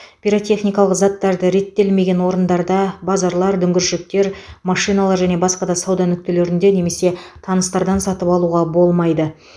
пиротехникалық заттарды реттелмеген орындарда базарлар дүңгіршектер машиналар және басқа да сауда нүктелерінде немесе таныстардан сатып алуға болмайды